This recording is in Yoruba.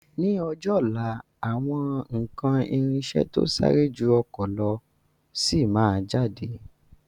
Ni ọjọ́ ọ̀la, àwọn ikán irinsẹ̀ to sáré ju ọkọ̀ lọ sí máa jáde.